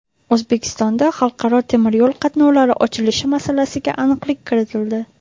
O‘zbekistonda xalqaro temiryo‘l qatnovlari ochilishi masalasiga aniqlik kiritildi.